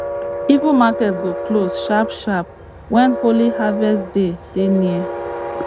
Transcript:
even market go close sharpsharp when holy harvest day dey near